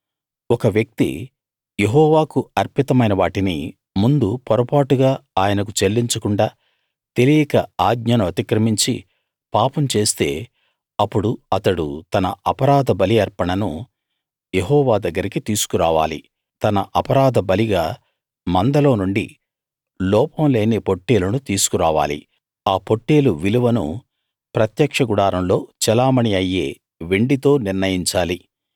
ఒక వ్యక్తి యెహోవాకు అర్పితమైన వాటిని ముందు పొరపాటుగా ఆయనకు చెల్లించకుండా తెలియక ఆజ్ఞను అతిక్రమించి పాపం చేస్తే అప్పుడు అతడు తన అపరాధ బలి అర్పణను యెహోవా దగ్గరికి తీసుకు రావాలి అతడు తన అపరాధ బలిగా మందలో నుండి లోపం లేని పొట్టేలును తీసుకురావాలి ఆ పొట్టేలు విలువను ప్రత్యక్ష గుడారంలో చెలామణీ అయ్యే వెండితో నిర్ణయించాలి